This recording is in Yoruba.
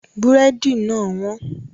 Búrẹ́dì náà wọ́n